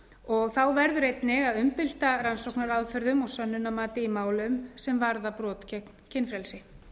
og þá verður einnig að umbylta rannsóknaraðferðum og sönnunarmati í málum sem varða brot gegn kynfrelsi